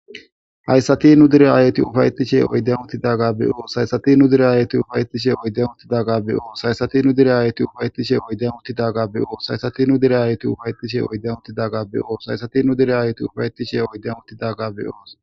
Hayssati nu dere aayeti ufayetishe oyden utidagga be7oos haysati nu dere ayeti ufayetishe oyde utidagga be7oos haysati nu dere aayeti ufayetishe oyde utidagga be7oos haysati nu direaayeti ufayettishe oyden utidagga be7oos haysati nu dire aayeti ufayetishe oyden utidagga be7oos.